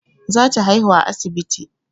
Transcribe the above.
Za ta haihu a asibiti